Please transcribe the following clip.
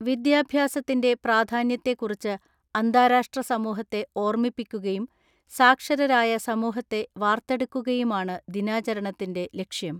വിദ്യാഭ്യാസത്തിന്റെ പ്രാധാന്യത്തെക്കുറിച്ച് അന്താരാഷ്ട്ര സമൂഹത്തെ ഓർമ്മിപ്പിക്കുകയും സാക്ഷരരായ സമൂഹത്തെ വാർത്തെടുക്കുകയുമാണ് ദിനാചരണത്തിന്റെ ലക്ഷ്യം.